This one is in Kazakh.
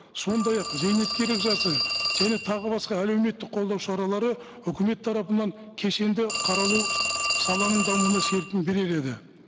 сондай ақ зейнеткерлік жасы және тағы басқа әлеуметтік қолдау шаралары үкімет тарапынан кешенді қаралу саланың дамуына серпін берер еді